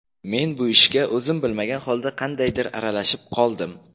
Men bu ishga o‘zim bilmagan holda qandaydir aralashib qoldim.